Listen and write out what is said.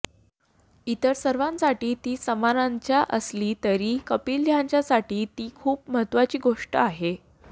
इतर सर्वांसाठी ती सामान्यचं असली तरी कपिल यांच्यासाठी ती खूप महत्वाची गोष्ट आहे